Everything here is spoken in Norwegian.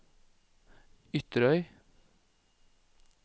Ytterøy